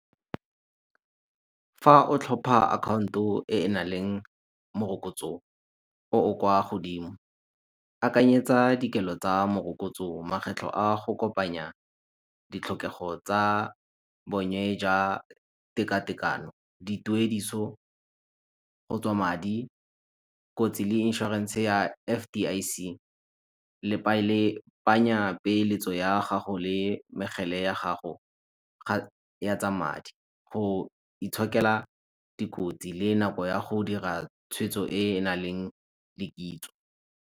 Fa o tlhopa account-o e enang le morokotso o o kwa godimo, akanyetsa dikelo tsa morokotso. Makgetlho a go kopanya ditlhokego tsa bonye ja tekatekano. Di tuediso gotswa madi kotsi le inshorense ya F_D_I_C peeletso ya gago le ya gago tsa madi, go itshokela dikotsi le nako ya go dira tshweetso e e nang le .